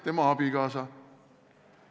Tema abikaasa.